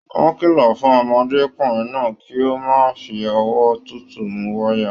Wọn kìlọ fún ọmọdékunrin náà kí o má fí ọwọ́ tútù mú wayà.